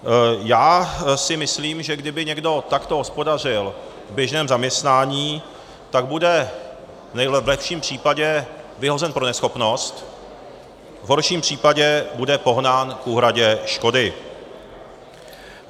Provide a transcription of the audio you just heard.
Já si myslím, že kdyby někdo takto hospodařil v běžném zaměstnání, tak bude v lepším případě vyhozen pro neschopnost, v horším případě bude pohnán k úhradě škody.